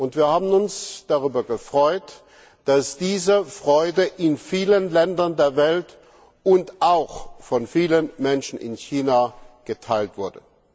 Und wir haben uns darüber gefreut, dass diese Freude in vielen Ländern der Welt und auch von vielen Menschen in China geteilt wurde.